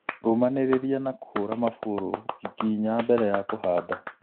Rũmanĩrĩria na kũhũra mabũrũ wiki inya mbele ya kũhanda